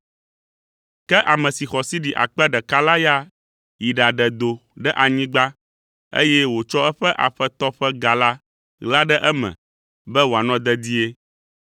“Ke ame si xɔ sidi akpe ɖeka la ya yi ɖaɖe do ɖe anyigba, eye wòtsɔ eƒe Aƒetɔ ƒe ga la ɣla ɖe eme be wòanɔ dedie.